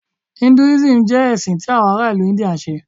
Hinduism jẹ ẹsin ti awọn ara ilu India nṣe.